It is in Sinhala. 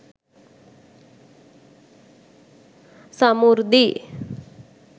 samurdhi